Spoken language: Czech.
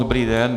Dobrý den.